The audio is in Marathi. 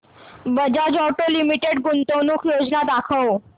बजाज ऑटो लिमिटेड गुंतवणूक योजना दाखव